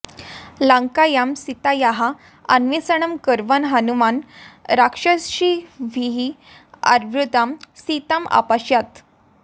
लङ्कायां सीतायाः अन्वेषणं कुर्वन् हनुमान् राक्षसीभिः आवृत्तां सीताम् अपश्यत्